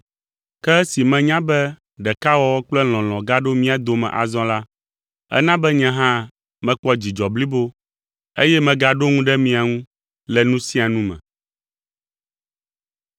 Ke esi menya be ɖekawɔwɔ kple lɔlɔ̃ gaɖo mía dome azɔ la, ena be nye hã mekpɔ dzidzɔ blibo, eye megaɖo ŋu ɖe mia ŋu le nu sia nu me.